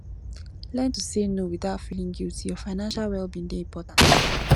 learn to say no without feeling guilty your financial well being dey important